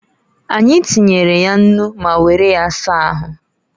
Anyi tinyere ya nnu ma were ya saa ahu.